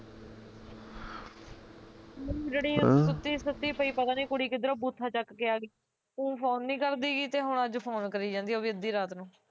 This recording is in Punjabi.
ਸੁੱਤੀ ਪਈ ਸੁੱਤੀ ਪਈ ਕੁੜੀ ਪਤਾ ਨੀ ਕਿਧਰੋਂ ਬੂਥਾ ਚੱਕ ਕੇ ਆਗੀ, ਊ phone ਨੀ ਕਰਦੀ ਗੀ ਤੇ ਹੁਣ ਅੱਜ phone ਕਰੀ ਜਾਂਦੀ ਐ ਉਹ ਵੀ ਅੱਧੀ ਰਾਤ ਨੂੰ